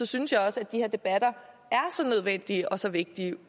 synes jeg også at de her debatter er så nødvendige og så vigtige